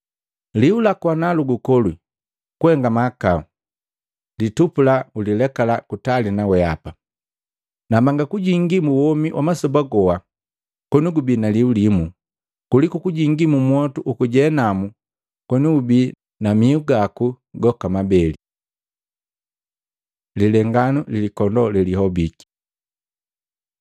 Liu laku ana lukukolwii kuhenga mahakau, litupula nukulileke kutali na weapa. Nambanga gujingila mu womi wa masoba goha koni gubi naliu limu, kuliku kujingi mu motu uku jehanamu koni ubii na miu gaku goka mabeli. Lilenganu likondoo lelihobiki Luka 15:3-7